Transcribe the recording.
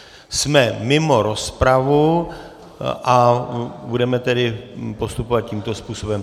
Jsme mimo rozpravu a budeme tedy postupovat tímto způsobem.